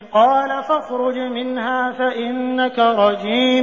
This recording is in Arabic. قَالَ فَاخْرُجْ مِنْهَا فَإِنَّكَ رَجِيمٌ